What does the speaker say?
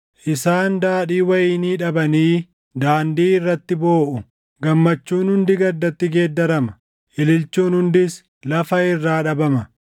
Isaan daadhii wayinii dhabanii daandii irratti booʼu; gammachuun hundi gaddatti geeddarama; ililchuun hundis lafa irraa dhabama.